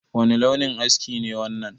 Wani launin aski ne wannan?